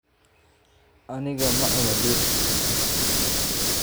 Anigaa ma cuno dhir